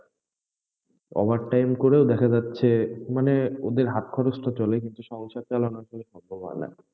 over time করেও দেখা যাচ্ছে, মানে, ওদের হাত খরচ টা চলে কিন্তু সংসার চালানোর জন্য সম্ভব হয় না,